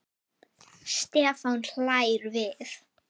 Stefán hlær við.